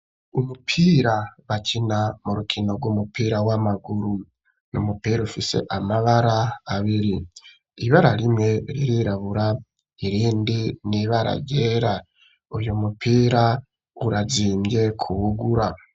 Umupira bakina mu rukino rw'umupira w'amaguru; ni umupira ufise amabara abiri; ibara rimwe ririrabura, irindi ni ibara ryera; uyu mupira urazimvye kuwugura.